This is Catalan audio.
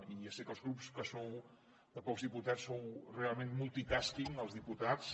i ja sé que als grups que sou de pocs diputats sou realment multitasking els diputats